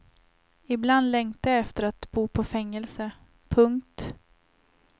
Ibland längtar jag efter att bo på fängelse. punkt